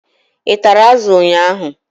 Ị tara azụ ụnyaahụ?